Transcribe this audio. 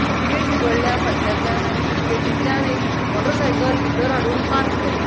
एक गेट उगडल्या फाटल्यातल्यान आणि ती गेटीतल्यान एक मोटर साइकल भितर हाडुन पार्क केल्या.